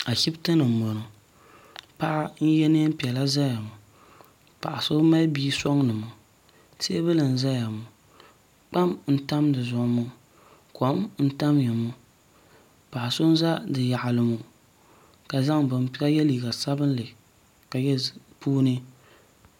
ashɛbitɛni n bɔŋɔ paɣ' n yɛ nɛpiɛlla n ʒɛ ŋɔ paɣ' so mali bia soŋ ŋɔ tɛbuli n zaya ŋɔ tam n tam di zuɣ ŋɔ kom n taya ŋɔ paɣ' so n za di yaɣili ŋɔ ka yɛliga sabinli ka yɛ di puuni